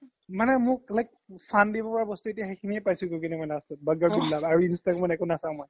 মানে মোক fun দিব পাৰা বস্তু মই এতিয়া সিখিনিয়ে পাইচো গৈ কিনে last ত বাগ্গাৰ বিল্লা আৰু ইনষ্টা ত মই একো নচাও মই